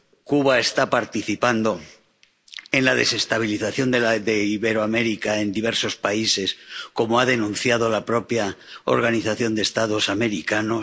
Cuba está participando en la desestabilización de Iberoamérica en diversos países, como ha denunciado la propia Organización de los Estados Americanos